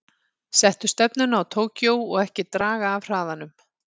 Settu stefnuna á Tókýó og ekki draga af hraðanum.